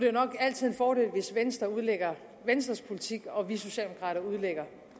nok altid en fordel hvis venstre udlægger venstres politik og vi socialdemokrater udlægger